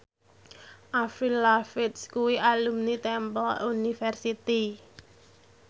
Avril Lavigne kuwi alumni Temple University